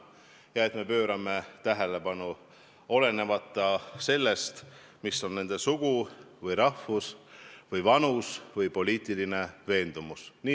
Me peame pöörama sellele tähelepanu, olenemata sellest, mis on nende sugu või rahvus või vanus või poliitiline veendumus.